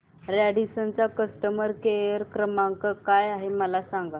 Radisson चा customer care क्रमांक काय आहे मला सांगा